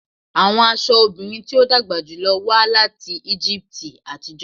Awọn aṣọ obirin ti o dagba julọ wa lati Egipti atijọ